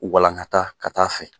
Walankata ka ta' fɛ.